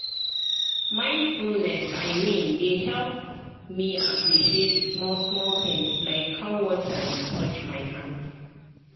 mindfulness i mean dey help me appreciate small-small things like how water dey touch my hand.